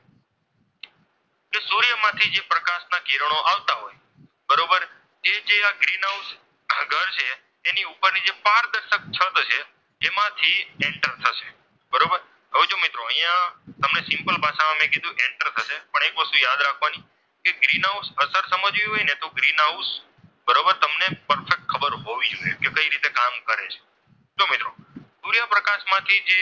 તમને સિમ્પલ ભાષામાં મેં કીધું enter થશે. પણ એક વસ્તુ યાદ રાખવાની કે ગ્રીન હાઉસ અસર સમજવી હોય ને તો ગ્રીન હાઉસ બરાબર તમને ફક્ત ખબર હોવી જોઈએ કે કઈ રીતે કામ કરે છે. જો મિત્રો સૂર્યપ્રકાશમાંથી જે,